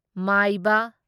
ꯃꯥꯢꯕ